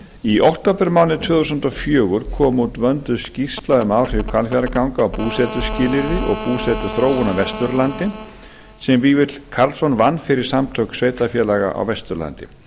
í októbermánuði tvö þúsund og fjögur kom út vönduð skýrsla um áhrif hvalfjarðarganga á búsetuskilyrði og búsetuþróun á vesturlandi sem vífill karlsson vann fyrir samtök sveitarfélaga á vesturlandi